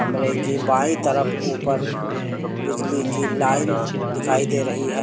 कमरे की बाईं तरफ ऊपर बिजली की लाइन दिखाई दे रही है।